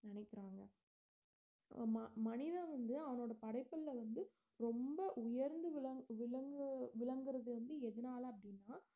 நினைக்கிறாங்க ம~ மனிதன் வந்து அவனோட படைப்புல வந்து ரொம்ப உயர்ந்து விளங்~ விளங்கு~ விளங்கறது வந்து எதனால அப்படின்னா